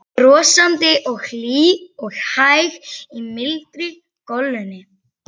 Brosandi og hlý og hæg í mildri golunni.